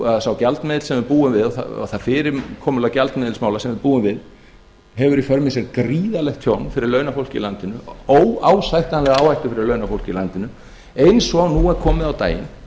að sá gjaldmiðill sem við búum við og það fyrirkomulag gjaldmiðilsmála sem við búum við hefur í för með sér gríðarlegt tjón fyrir launafólk í landinu óásættanlega áhættu fyrir launafólk í landinu eins og nú er komið á daginn